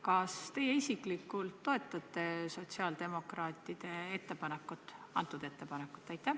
Kas te isiklikult toetate sotsiaaldemokraatide ettepanekut?